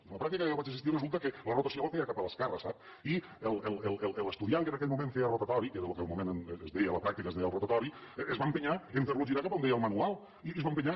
i en la pràctica que jo vaig assistir resulta que la rotació la feia cap a l’esquerra sap i l’estudiant que en aquell moment feia rotatori que era el que en el moment es deia la pràctica es deia el rotatori es va entestar a ferlo girar cap a on deia el manual i s’hi va entestar